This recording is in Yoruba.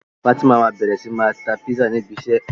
Fatima ma bẹrẹ sí ní ma ta Písà ni ibi isẹ́